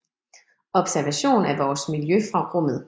Observation af vores miljø fra rummet